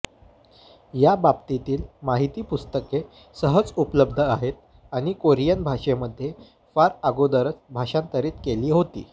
या बाबतीतील माहिती पुस्तके सहज उपलब्ध आहेत आणि कोरियन भाषेमध्ये फार अगोदरच भाषांतरित केली होती